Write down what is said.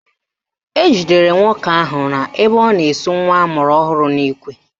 Ejidere nwoke ahụ ebe ọ na-esu nwa amụrụ ọhụrụ n'ikwe